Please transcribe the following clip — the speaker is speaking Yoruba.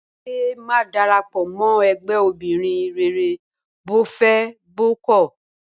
Bímpé máa darapọ̀ mọ́ ẹgbẹ́ obìnrin rere bó fẹ́ bó kọ̀